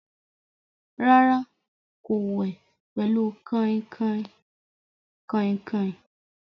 Rárá, kò wẹ̀ pẹ̀lú kàìnkàìn.